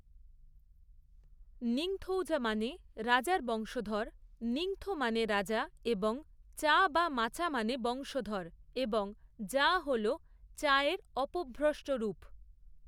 নিংথৌজা মানে রাজার বংশধর; নিংথো মানে রাজা এবং চা বা মাচা মানে বংশধর এবং জা হল চা এর অপভ্র্রষ্ট রূপ।